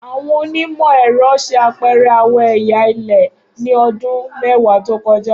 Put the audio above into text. Awọn onimọ-ẹrọ ṣe apẹrẹ awọn ẹya ilẹ-ilẹ ni ọdun mẹwa to kọja.